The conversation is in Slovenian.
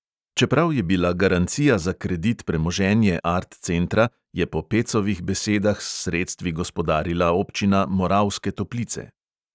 Čeprav je bila garancija za kredit premoženje art centra, je po pecovih besedah s sredstvi gospodarila občina moravske toplice.